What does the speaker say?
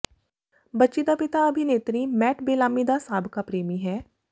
ਬੱਚੀ ਦਾ ਪਿਤਾ ਅਭਿਨੇਤਰੀ ਮੈਟ ਬੇਲਾਮੀ ਦਾ ਸਾਬਕਾ ਪ੍ਰੇਮੀ ਹੈ